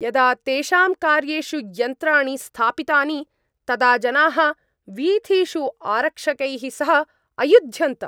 यदा तेषां कार्येषु यन्त्राणि स्थापितानि तदा जनाः वीथिषु आरक्षकैः सह अयुध्यन्त।